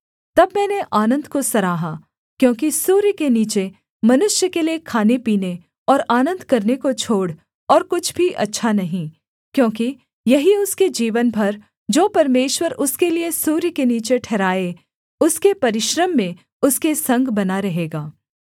तब मैंने आनन्द को सराहा क्योंकि सूर्य के नीचे मनुष्य के लिये खानेपीने और आनन्द करने को छोड़ और कुछ भी अच्छा नहीं क्योंकि यही उसके जीवन भर जो परमेश्वर उसके लिये सूर्य के नीचे ठहराए उसके परिश्रम में उसके संग बना रहेगा